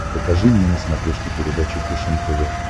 покажи мне на смотрешке передачу фэшен тв